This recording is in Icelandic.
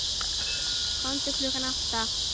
Komdu klukkan átta.